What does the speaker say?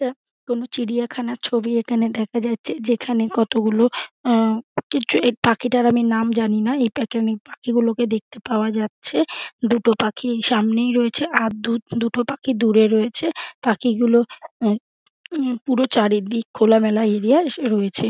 যা কোন চিড়িয়াখানার ছবি এখানে দেখা যাচ্ছে যেখানে কতগুলো আঁ কিছু পাখিটার আমি নাম জানি না। এটাকে আমি পাখি গুলো দেখতে পাওয়া যাচ্ছে। দুটো পাখি সামনেই রয়েছে আর দু দুটো পাখি দূরে রয়েছে। পাখি গুলো অ্যা উম পুরো চারিদিক খোলা মেলা এরিয়া য় রয়েছে।